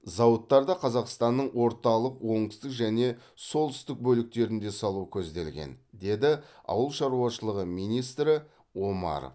зауыттарды қазақстанның орталық оңтүстік және солтүстік бөліктерінде салу көзделген деді ауыл шаруашылығы министрі омаров